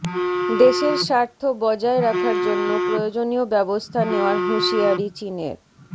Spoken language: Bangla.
দেশের স্বার্থ বজায় রাখার জন্য প্রয়োজনীয় ব্যবস্থা নেওয়ার হুঁশিয়ারি চিনের